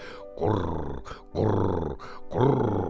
Qur, qur, qur.